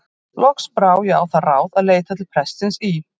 Loks brá ég á það ráð að leita til prestsins í